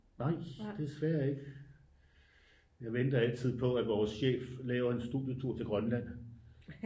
Nej desværre ikke jeg venter altid på at vores chef laver en studietur til Grønland